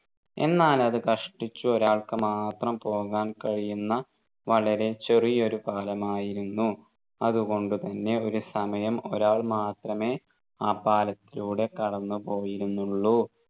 എന്നാൽ അതു കഷ്ടിച്ചു ഒരാൾക്കു മാത്രം പോകാൻ കഴിയുന്ന വളരെ ചെറിയൊരു പാലമായിരുന്നു അതുകൊണ്ടു തന്നെ ഒരു സമയം ഒരാൾ മാത്രമേ ആ പാലത്തിലൂടെ കടന്നുപോയിരുന്നുള്ളു